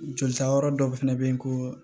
Jolita yɔrɔ dɔw fɛnɛ bɛ ye ko